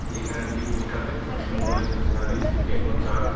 এখানে একটি পোস্টার দেখতে পাচ্ছি mobile cell service techno chart .